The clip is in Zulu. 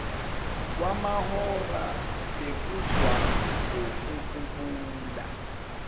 kwamahora bekuzwa ngokububula